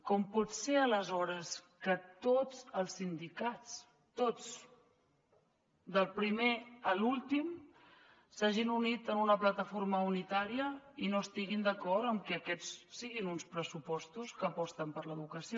com pot ser aleshores que tots els sindicats tots del primer a l’últim s’hagin unit en una plataforma unitària i no estiguin d’acord amb que aquests siguin uns pressupostos que aposten per l’educació